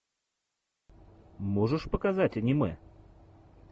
можешь показать аниме